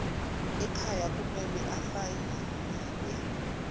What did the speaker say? ekhaya kumele asayiniwe